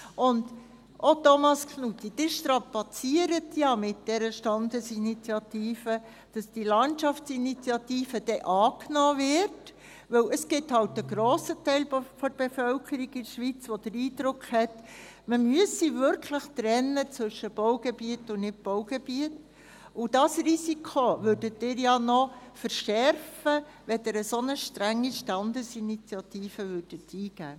Und auch, Thomas Knutti: Ihr strapaziert ja mit dieser Standesinitiative, dass diese Landschaftsinitiative dann angenommen wird, weil es halt einen grossen Teil der Bevölkerung in der Schweiz gibt, der den Eindruck hat, man müsse wirklich zwischen Baugebiet und Nichtbaugebiet trennen, und dieses Risiko würdet ihr ja noch verschärfen, wenn ihr eine solch strenge Standesinitiative eingeben würdet.